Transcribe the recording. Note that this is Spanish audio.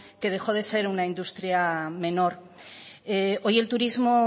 que dejó de ser una industria menor hoy el turismo